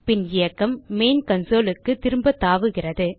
பின் இயக்கம் மெயின் consoleக்கு திரும்ப தாவுகிறது